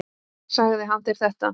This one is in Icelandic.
Sagði hann þér þetta?